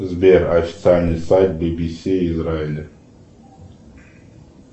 сбер официальный сайт би би си израиля